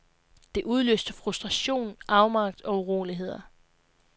Det udløste frustration, afmagt og uroligheder.